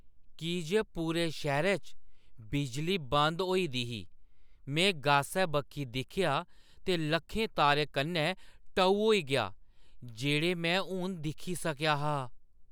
की जे पूरे शैह्‌रै च बिजली बंद होई दी ही, में गासै बक्खी दिक्खेआ ते लक्खें तारें कन्नै टऊ होई गेआ जेह्ड़े में हून दिक्खी सकेआ हा।